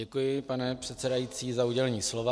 Děkuji, pane předsedající, za udělení slova.